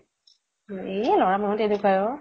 উম য়ে লʼৰা মানুহ তেনেকুৱা এ অʼ।